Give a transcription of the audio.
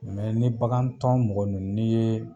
ni bakan tɔn mɔgɔ nunnu ni ye